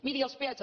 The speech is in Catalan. miri els peatges